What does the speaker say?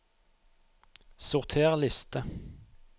Sorter liste